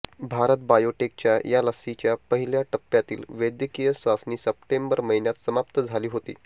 भारत बायोटेकच्या या लसीच्या पहिल्या टप्प्यातील वैद्यकीय चाचणी सप्टेंबर महिन्यात समाप्त झाली होती